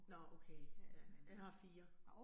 Nåh okay. Ja, jeg har 4